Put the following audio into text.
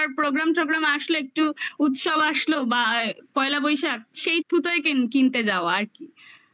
program টগ্রাম আসলে একটু উৎসব আসলো বা পয়লা বৈশাখ সেই টুকু কিনতে যাওয়া আর কি